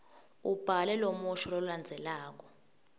ubhale lomusho lolandzelako